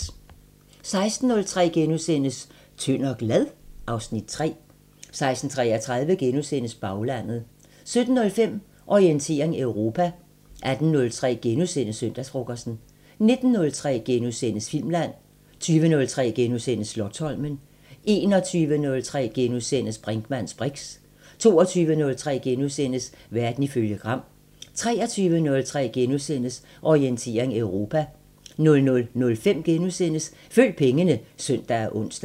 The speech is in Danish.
16:03: Tynd og glad? (Afs. 3)* 16:33: Baglandet * 17:05: Orientering Europa 18:03: Søndagsfrokosten * 19:03: Filmland * 20:03: Slotsholmen * 21:03: Brinkmanns briks * 22:03: Verden ifølge Gram * 23:03: Orientering Europa * 00:05: Følg pengene *(søn og ons)